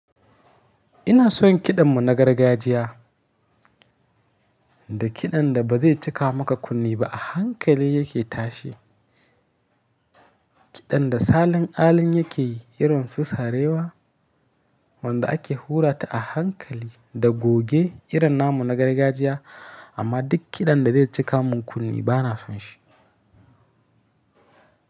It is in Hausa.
Ina son kiɗan mu na gargajiya, da kiɗan da ba zai cika maka kunne ba a hankali yake tashi. Kiɗan da salin alin yake yi iron su sarewa, wanda ake hura ta a hankali da goge irin namu na gargajiya amma duk kiɗan da zai cika mun kunne bana son shi.